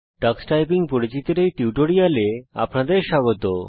tax typing পরিচিতির এই টিউটোরিয়ালে আপনাদের স্বাগত